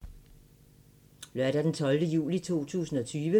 Søndag d. 12. juli 2020